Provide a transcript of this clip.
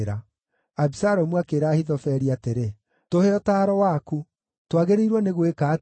Abisalomu akĩĩra Ahithofeli atĩrĩ, “Tũhe ũtaaro waku. Twagĩrĩirwo nĩ gwĩka atĩa?”